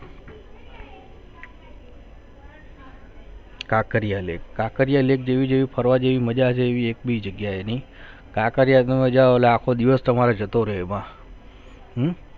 Kankaria lake Kankaria Lake જોવા જેવિ ફરવા જેવિ જવા મજા છે એવિ એક બી જગહ્યાયે નહિ છે હમ કાંકરિયા માં તમારો આખો દિવસ જતો રહે માં હમ